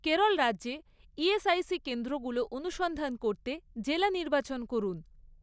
কেরল রাজ্যে ইএসআইসি কেন্দ্রগুলো অনুসন্ধান করতে জেলা নির্বাচন করুন।